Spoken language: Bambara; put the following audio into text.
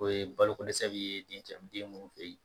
O ye balo ko dɛsɛ bi ye dencɛ den munnu feyen